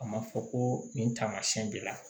A ma fɔ ko nin taamasiyɛn b'i la